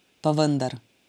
Pa vendar...